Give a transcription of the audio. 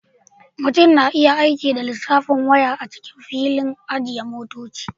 Mutum na iya aika da lissafin waya a cikin filin ajiye motoci